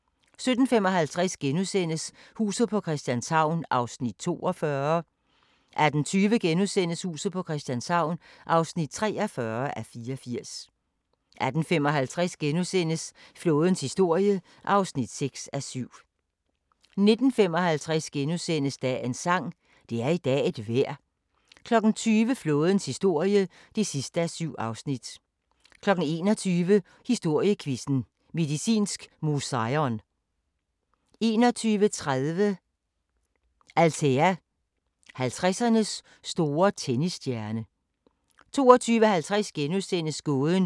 19:55: Dagens sang: Det er i dag et vejr * 20:00: Flådens historie (7:7) 21:00: Historiequizzen: Medicinsk Museion 21:30: Althea: 50'ernes store tennisstjerne 22:50: Gåden om den hellige lanse * 23:40: Apollo 11: Den ufortalte historie 00:35: Apollo 13: Set indefra 01:25: Exodus – mere end en myte? 03:25: Kvit eller Dobbelt * 04:55: Kvit eller Dobbelt